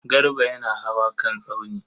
Garba yana hawa kan tsauni.